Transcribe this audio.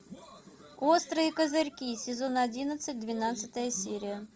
острые козырьки сезон одиннадцать двенадцатая серия